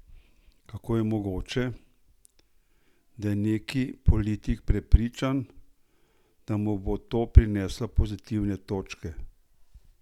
Kako je mogoče, da je neki politik prepričan, da mu bo to prineslo pozitivne točke?